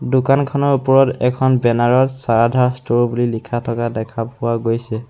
দোকানখনৰ ওপৰত এখন বেনাৰত শ্ৰাৰধা ষ্টোৰ বুলি লিখা থকা দেখা পোৱা গৈছে।